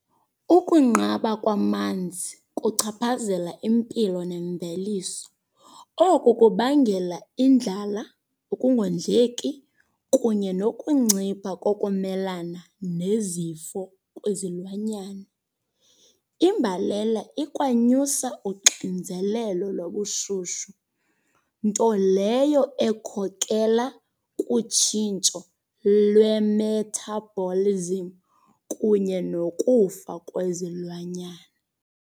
Ukunqaba kwamanzi kuchaphazela impilo nemveliso. Oku kubangela indlala, ukungondleki kunye nokuncipha kokumelana nezifo kwizilwanyana. Imbalela ikwanyusa uxinzelelo lobushushu, nto leyo ekhokelela kutshintsho lwe-metabolism kunye nokufa kwezilwanyana.